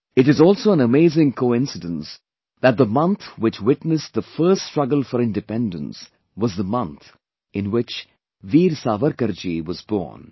It is also an amazing coincidence that the month which witnessed the First Struggle for Independence was the month in which Veer Savarkar ji was born